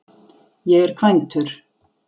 Ég er kvæntur.